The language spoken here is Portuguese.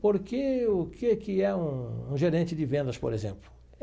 Porque o que que é um gerente de vendas, por exemplo?